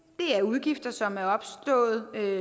det er udgifter som er opstået